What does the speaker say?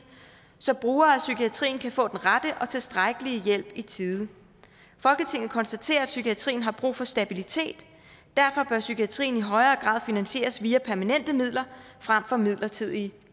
så brugere af psykiatrien kan få den rette og tilstrækkelige hjælp i tide folketinget konstaterer at psykiatrien har brug for stabilitet derfor bør psykiatrien i højere grad finansieres via permanente midler frem for midlertidige